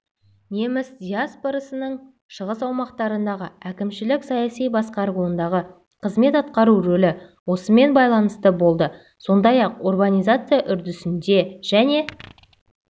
неміс диаспорасының шығыс аумақтардағы әкімшілік-саяси басқаруындағы қызмет атқару рөлі осымен байланысты болды сондай-ақ урбанизация үрдісінде және